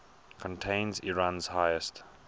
contains iran's highest